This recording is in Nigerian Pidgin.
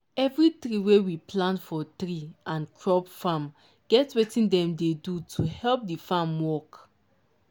every tree wey we plant for tree and crop farmget wetin dem dey do to help the farm work